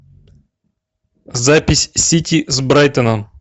запись сити с брайтоном